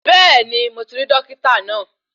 Bẹ́ẹ̀ni mo ti rí Dókítà náà